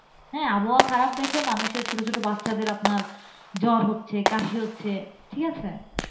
হ্যাঁ আবহাওয়া খারাপ দেখে মানুষের ছোট ছোট বাচ্চাদের আপনার জ্বর হচ্ছে কাশি হচ্ছে। ঠিকাছে?